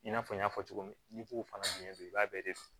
I n'a fɔ n y'a fɔ cogo min n'i b'o fana dun i b'a bɛɛ de dun